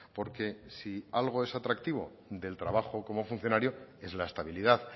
porque si algo es atractivo del trabajo como funcionario es la estabilidad